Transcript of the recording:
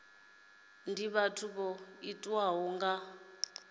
ndi vhathu vho tiwaho nga